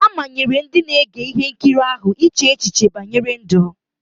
A manyere ndị na-ege ihe nkiri ahụ iche echiche banyere ndụ.